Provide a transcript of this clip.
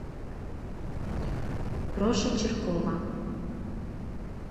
проша чиркова